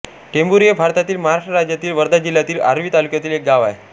टेंभारी हे भारतातील महाराष्ट्र राज्यातील वर्धा जिल्ह्यातील आर्वी तालुक्यातील एक गाव आहे